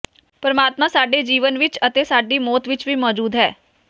ਪਰਮਾਤਮਾ ਸਾਡੇ ਜੀਵਨ ਵਿਚ ਅਤੇ ਸਾਡੀ ਮੌਤ ਵਿਚ ਵੀ ਮੌਜੂਦ ਹੈ